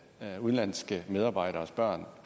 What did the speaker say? at udenlandske medarbejderes børn